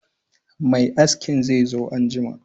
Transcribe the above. Mai askin zai zo anjima